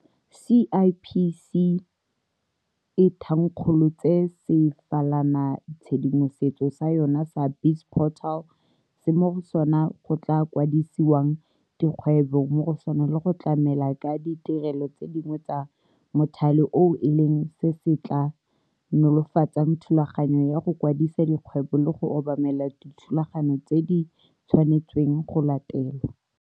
CIPC e thankgolotse sefalanatshedimosetso sa yona sa BizPortal se mo go sona go tla kwadisiwang dikgwebo mo go sona le go tlamela ka ditirelo tse dingwe tsa mothale oo e leng se se tla nolofatsang thulaganyo ya go kwadisa dikgwebo le go obamela dithulaganyo tse di tshwanetsweng go latelwa.